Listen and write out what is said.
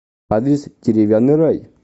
адрес деревянный рай